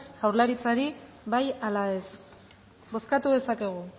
jaurlaritzari bai ala ez bozkatu dezakegu